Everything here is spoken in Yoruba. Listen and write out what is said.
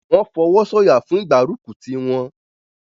wọ́n fọwọ́sọ̀yà fún ìgbárùkùtì wọn.